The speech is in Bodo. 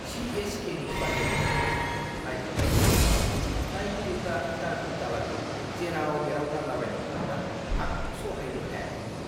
सि.एस.के.नि बादायलायनायखौ नायखांनायनि उनाव नायगिरिफ्रा दाखोर-दालाखौ जेराव-मेराव गारलाबायनायखौ नुना आं सहायनो हायाखैमोन।